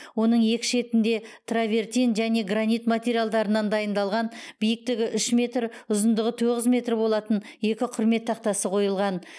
оның екі шетінде травертин және гранит материалдарынан дайындалған биіктігі үш метр ұзындығы тоғыз метр болатын екі құрмет тақтасы қойылған